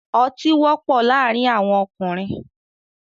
Ọtí wọ́pọ̀ laárìn awọn ọkùnrin